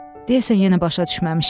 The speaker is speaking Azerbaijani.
Deyəsən yenə başa düşməmişdi.